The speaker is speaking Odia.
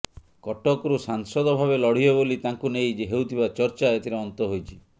କଟକରୁ ସାଂସଦ ଭାବେ ଲଢ଼ିବେ ବୋଲି ତାଙ୍କୁ ନେଇ ହେଉଥିବା ଚର୍ଚା ଏଥିରେ ଅନ୍ତ ହୋଇଛି